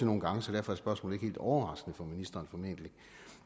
nogle gange så derfor er spørgsmålet helt overraskende for ministeren